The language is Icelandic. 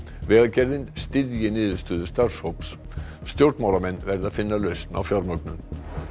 vegagerðin styðji niðurstöðu starfshóps stjórnmálamenn verði að finna lausn á fjármögnun